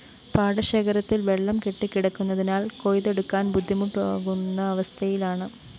പാടശേഖരത്തില്‍ വെള്ളം കെട്ടികിടക്കുന്നതിനാല്‍ കൊയ്‌തെടുക്കാന്‍ ബുദ്ധിമുട്ടാകുന്ന അവസ്ഥയിലാണ്